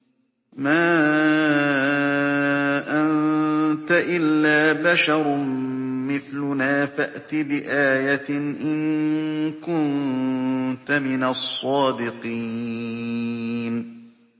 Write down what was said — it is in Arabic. مَا أَنتَ إِلَّا بَشَرٌ مِّثْلُنَا فَأْتِ بِآيَةٍ إِن كُنتَ مِنَ الصَّادِقِينَ